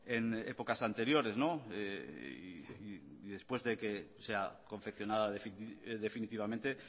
en épocas anteriores y después de que sea confeccionada definitivamente